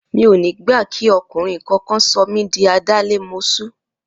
Mi ò ní gbà kí ọkùnrin kankan sọ mí di adálémoṣú!